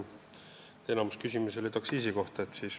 Enamik küsimusi oli aktsiisi kohta.